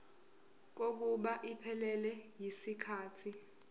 kokuba iphelele yisikhathi